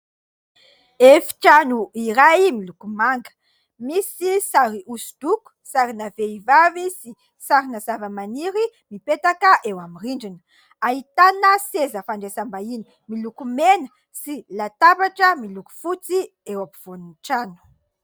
Efitrano iray miloko manga, misy sary hosodoko sarina vehivavy sy sarina zavamaniry mipetaka eo amin'ny rindrina, ahitana seza fandrasam-bahiny miloko mena sy latabatra miloko fotsy eo ampovoan'ny trano.